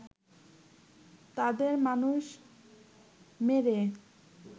তাদের মানুষ মেরে